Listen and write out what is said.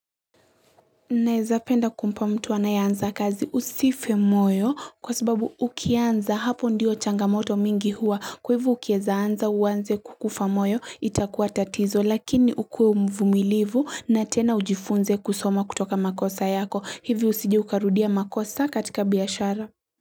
Naezapenda kumpa mtu anayanza kazi usife moyo kwasababu ukianza hapo ndiyo changamoto mingi huwa kwa hivyo ukiezaanza uanze kukufa moyo itakuwa tatizo lakini ukue mvumilivu na tena ujifunze kusoma kutoka makosa yako hivi usijeukarudia makosa katika biashara.